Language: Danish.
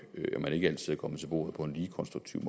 at man ikke altid er kommet til bordet på en lige konstruktiv